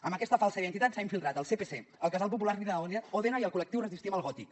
amb aquesta falsa identitat s’ha infiltrat al sepc al casal popular lina òdena i al col·lectiu resistim al gòtic